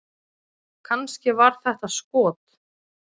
Kannski var þetta skot??